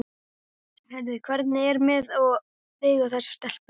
Heyrðu, hvernig er með þig og þessa stelpu?